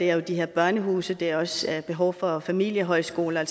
er de her børnehuse og det er også et behov for familiehøjskoler